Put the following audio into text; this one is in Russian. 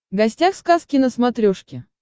гостях сказки на смотрешке